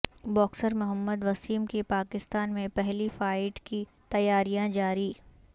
boxer Muhammad Waseem کی پاکستان میں پہلی فائٹ کی تیاریاں جاری